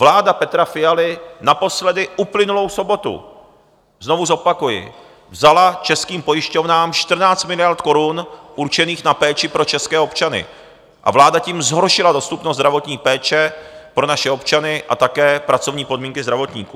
Vláda Petra Fialy naposledy uplynulou sobotu, znovu zopakuji, vzala českým pojišťovnám 14 miliard korun určených na péči pro české občany a vláda tím zhoršila dostupnost zdravotní péče pro naše občany a také pracovní podmínky zdravotníků.